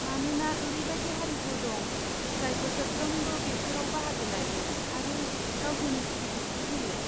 मानोना ओरैबायदि हारिफोर दं, जाय बोसोरफ्रोमबो बेफोराव बाहागो लायो आरो गावसोरनि सिबिथाइखौ होयो।